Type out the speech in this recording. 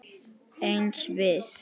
Eins við